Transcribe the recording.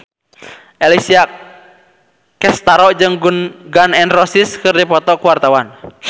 Alessia Cestaro jeung Gun N Roses keur dipoto ku wartawan